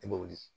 I bɛ wuli